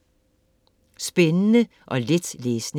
Spændende og let læsning